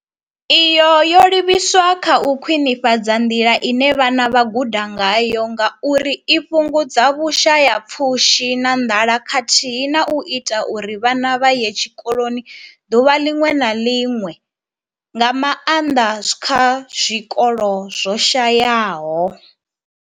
Iyi yo livhiswa kha u khwinifhadza nḓila ine vhana vha guda ngayo ngauri i fhungudza vhushayapfushi na nḓala khathihi na u ita uri vhana vha ye tshikoloni ḓuvha ḽiṅwe na ḽiṅwe, nga maanḓa kha zwikolo zwo shayaho.